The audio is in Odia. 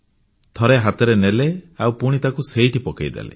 ଥରେ ହାତରେ ନେଲେ ଆଉ ପୁଣି ତାକୁ ସେଇଠି ପକେଇଦେଲେ